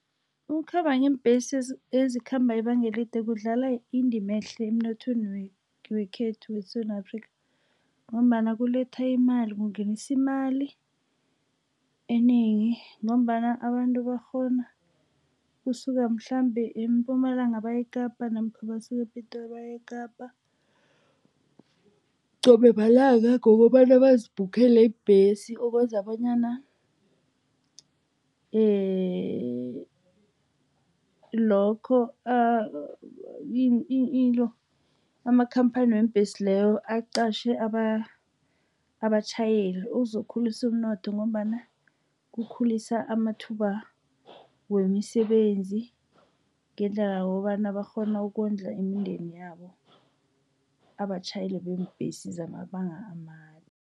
Ukukhamba ngeembhesi ezikhamba ibanga elide kudlala indima ehle emnothweni wekhethu weSewula Afrika, ngombana kuletha imali, kungenisa imali enengi, ngombana abantu bakghona ukusuka mhlambe eMpumalanga baye eKapa, namkha basuke ePitori baye eKapa qobe malanga ngokobana bazibhukhele ibhesi. Okwenza bonyana lokho into, amakhamphani weembhesi layo aqatjhe abatjhayeli. Kuzokukhulisa umnotho ngombana kukhulisa amathuba wemisebenzi, ngendlela yokobana bakghone ukondla imindeni yabo abatjhayeli beembhesi zamabanga amade.